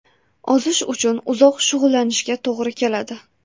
Ozish uchun uzoq shug‘ullanishga to‘g‘ri keladi.